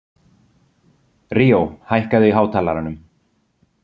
Ríó, hækkaðu í hátalaranum.